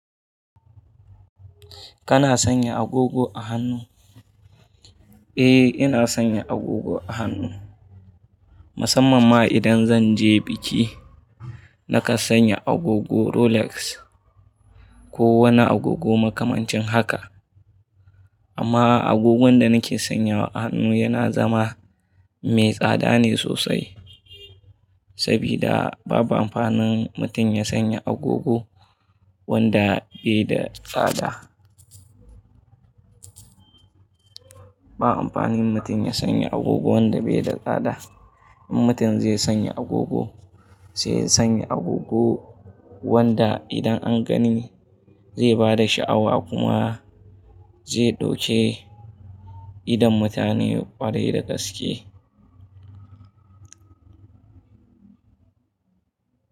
Kana sanya agogo a hannu? Eh, ina sanya agogo a hannu, musamman ma idan zan je biki. Nakan sanya agogo Rolex ko wani agogo makamancin haka. Amma agogon da nake sanyawa a hannu yana zama me tsada ne sosai. Sabida babu amfanin mutum ya sanya agogo wanda bai da tsada. Ba amfanin mutum ya sanya agogo wanda bai da tsada. In mutum zai sanya agogo, sai ya sanya agogo wanda idan an gani zai bada shi'awa kuma zai ɗauke idon mutane ƙwarai da gaske.